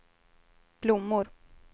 blommor